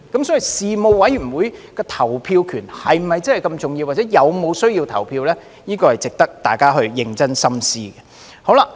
所以，事務委員會的投票權是否真的那麼重要，或者是否有需要投票，這是值得大家認真深思的。